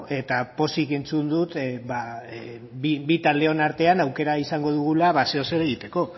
eta pozik entzun dut bi taldeon artean aukera izango dugula zeozer egiteko